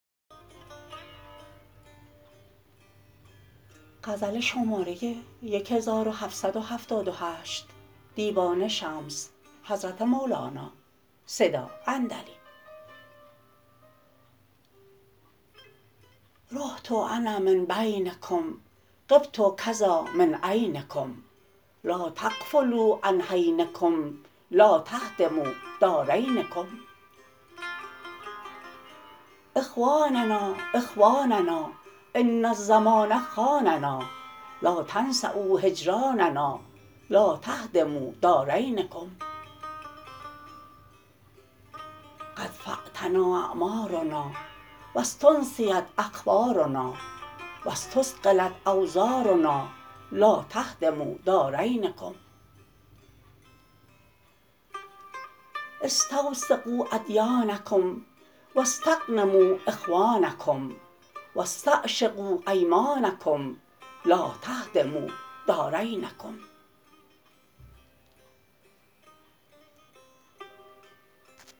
رحت انا من بینکم غبت کذا من عینکم لا تغفلوا عن حینکم لا تهدموا دارینکم اخواننا اخواننا ان الزمان خاننا لا تنسؤا هجراننا لا تهدموا دارینکم قد فاتنا اعمارنا و استنسیت اخبارنا و استثقلت اوزارنا لا تهدموا دارینکم استوثقوا ادیانکم و استغنموا اخوانکم و استعشقوا ایمانکم لا تهدموا دارینکم